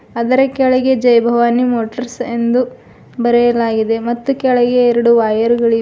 ಅದರ ಕೆಳಗೆ ಜೈ ಭವಾನಿ ಮೋಟರ್ಸ್ ಎಂದು ಬರೆಯಲಾಗಿದೆ ಮತ್ತು ಕೆಳಗೆ ಎರಡು ವೈರ್ ಗಳಿವೆ.